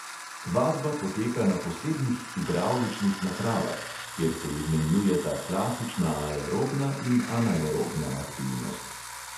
Vadba poteka na posebnih hidravličnih napravah, kjer se izmenjujeta klasična aerobna in anaerobna aktivnost.